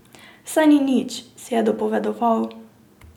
Saj ni nič, si je dopovedoval.